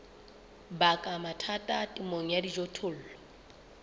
baka mathata temong ya dijothollo